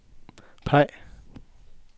peg